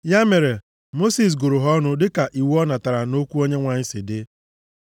Ya mere, Mosis gụrụ ha ọnụ dịka iwu ọ natara site nʼokwu Onyenwe anyị si dị.